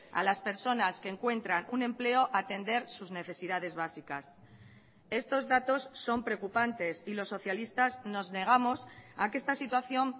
a las personas que encuentran un empleo atender sus necesidades básicas estos datos son preocupantes y los socialistas nos negamos a que esta situación